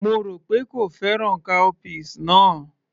Mo rò pé kò fẹ́ràn cowpeas náà